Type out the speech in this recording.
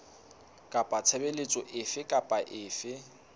kapa tshebeletso efe kapa efe